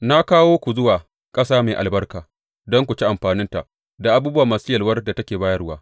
Na kawo ku zuwa ƙasa mai albarka don ku ci amfaninta da abubuwa masu yalwar da take bayarwa.